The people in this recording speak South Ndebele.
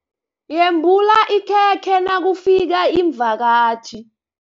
Yembula ikhekhe nakufika iimvakatjhi.